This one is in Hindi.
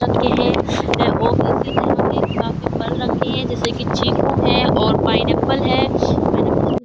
रखे हैं और इसी तरह के काफी फल रखे हैं जैसे कि चीकू है और पाइनएप्पल है पाइनएप्पल --